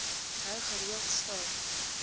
hou gereeld stil